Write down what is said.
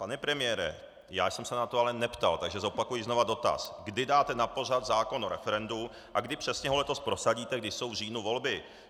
Pane premiére, já jsem se na to ale neptal, takže zopakuji znovu dotaz: kdy dáte na pořad zákon o referendu a kdy přesně ho letos prosadíte, když jsou v říjnu volby.